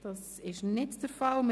– Dies ist nicht der Fall.